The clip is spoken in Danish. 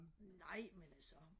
nej men altså